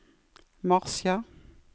marsjer